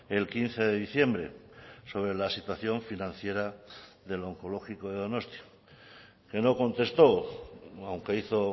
el quince de diciembre sobre la situación financiera del onkologiko de donostia que no contestó aunque hizo